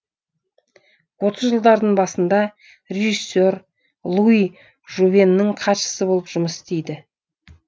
отыз жылдардың басында режиссер луи жувеннің хатшысы болып жұмыс істейді